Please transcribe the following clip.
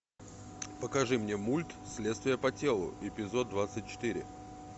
покажи мне мульт следствие по телу эпизод двадцать четыре